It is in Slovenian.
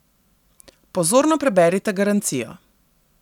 Pozorno preberite garancijo.